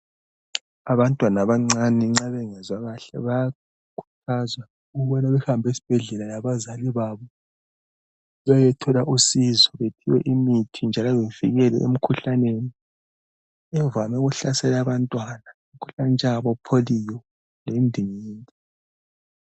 Abantwana abancane nxa bengezwa kahle kumele bahambe esibhedlela labazali babo beyethola usizo bephiwe imithi njalo bevikelwe emkhuhlaneni evame ukuhlasela abantwana njengabo Polio lendingindi.